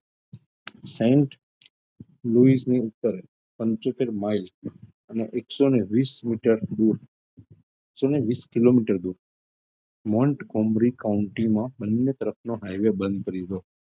પંચોતેર mile અને એકસો વિશ meter દુર એકસો ને વિશ કિલોમીટર દુર બંને તરફનો highway બંધ કરી દીધો.